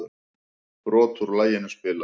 Brot úr laginu spilað